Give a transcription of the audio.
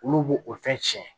Olu b'o o fɛn tiɲɛ